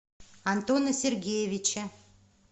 антона сергеевича